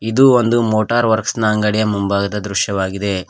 ಇದು ಒಂದು motor works ನ ಅಂಗಡಿಯ ಮುಂಭಾಗದ ದೃಶ್ಯವಾಗಿದೆ.